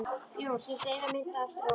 Jón sýndi eina mynd eftir árið.